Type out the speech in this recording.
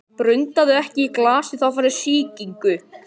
Hann þjálfar leikmenn sína af mikilli hörku og býst alltaf við því besta.